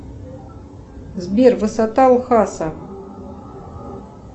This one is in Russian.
сбер высота ухаса